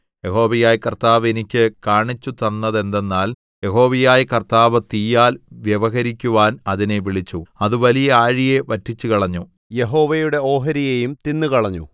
യഹോവയായ കർത്താവ് എനിക്ക് കാണിച്ചുതന്നതെന്തെന്നാൽ യഹോവയായ കർത്താവ് തീയാൽ വ്യവഹരിക്കുവാൻ അതിനെ വിളിച്ചു അത് വലിയ ആഴിയെ വറ്റിച്ചുകളഞ്ഞു യഹോവയുടെ ഓഹരിയെയും തിന്നുകളഞ്ഞു